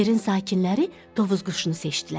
Yerin sakinləri Tovuz quşunu seçdilər.